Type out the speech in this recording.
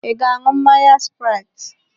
Ị ga-aṅụ mmanya spraiti?